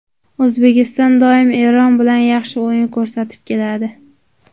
O‘zbekiston doim Eron bilan yaxshi o‘yin ko‘rsatib keladi.